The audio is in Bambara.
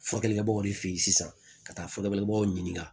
Furakɛlikɛbaw de fe yen sisan ka taa furakɛlibaw ɲininka